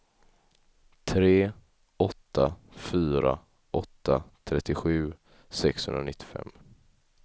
tre åtta fyra åtta trettiosju sexhundranittiofem